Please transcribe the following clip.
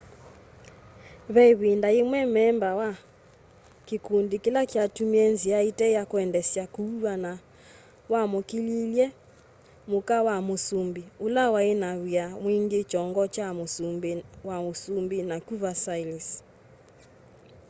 ve ĩvinda yĩmwe memba wa kĩkũndĩ kĩla kyatũmĩie nzĩa ĩte ya kũendeesya kũũwana wamũkĩlĩilye mũka wa mũsũmbĩ ũla waĩna na wia mwingĩ kyongo kya mũsungĩ wa ũsũmbĩ nakũ versailles